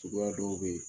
Suguya dɔw bɛ yen